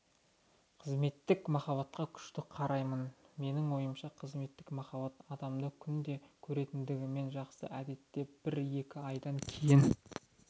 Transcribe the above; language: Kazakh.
қызметтік махаббатқа күшті қараймын менің ойымша қызметтік махаббат адамды күнде көретіндігімен жақсы әдетте бір-екі айдан кейін